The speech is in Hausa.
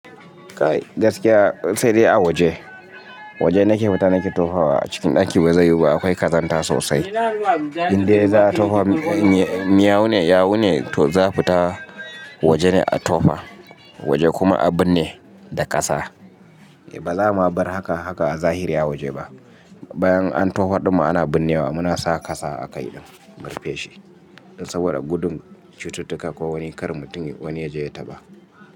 Gaskiya sai dai a waje. Waje nake fita nake tofa wa a cikin ɗaki ba zai yiwu ba akwai ƙazanta sosai. Inde za a tofa, miyau ne, yawu ne za a fita waje ne a tofa. Waje kuma a binne da ƙasa. Ba za mu abar haka haka a zahiri a waje ba. Bayan an tofa ɗin ma, ana binnewa muna saka kasa a kai mu rufeshi. Saboda gudun cututtuka ko wani kar mutum wani ya je ya taɓa.